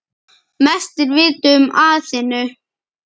Mest er vitað um Aþenu.